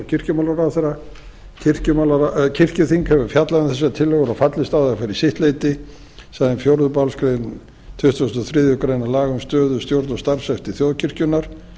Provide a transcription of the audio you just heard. og kirkjumálaráðherra kirkjuþing hefur fjallað um þessar tillögur og fallist á þær fyrir sitt leyti samanber fjórðu málsgrein tuttugustu og þriðju grein laga um stöðu stjórn og starfshætti þjóðkirkjunnar